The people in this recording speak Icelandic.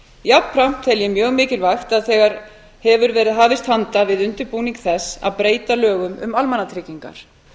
jafnframt tel ég mjög mikilvægt að þegar hefur verið hafist handa við undirbúning þess að breyta lögum um almannatryggingar